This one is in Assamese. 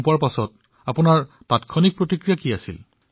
তেনেহলে তেতিয়া আপোনাৰ তৎক্ষাণিক প্ৰতিক্ৰিয়া কি আছিল